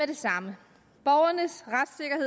det samme